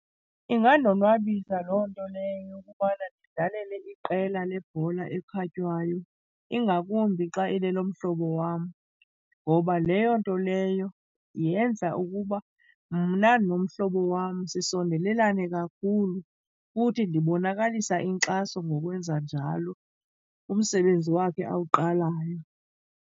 Ingandonwabisa loo nto leyo yokubana ndidlalele iqela lebhola ekhatywayo, ingakumbi xa ilelomhlobo wam. Ngoba leyo nto leyo yenza ukuba mna nomhlobo wam sisondelelane kakhulu futhi ndibonakalisa inkxaso ngokwenza njalo kumsebenzi wakhe awuqalayo.